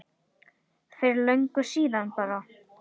Jóhanna: Fyrir löngu síðan bara?